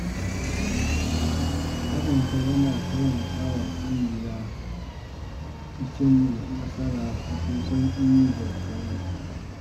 Haɗin kai yana taimaka wa ƙungiya ta cimma nasara cikin sauƙi da sauri.